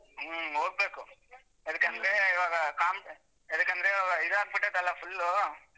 ಹ್ಮ್ ಹೋಗ್ಬೇಕು ಎದಕಂದ್ರೆ ಇವಾಗ ಕಾಮ್~ ಎದಕಂದ್ರೆ ಇವಾಗ ಇದಾಗ್ ಬಿಟೈತಲ್ಲ full ಉ.